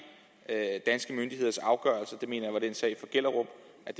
danske myndigheders afgørelser det mener var den sag fra gellerup